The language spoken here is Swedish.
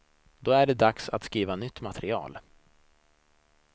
Då är det dags att skriva nytt material.